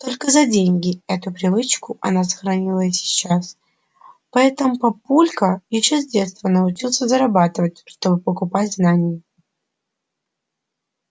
только за деньги эту привычку она сохранила и сейчас поэтому папулька ещё с детства научился зарабатывать чтобы покупать знания